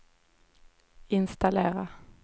installera